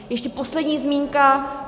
Ještě poslední zmínka.